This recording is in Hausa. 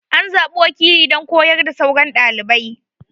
An zaɓi wakili don koyar da sauran ɗalibai.